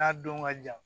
N'a don ka jan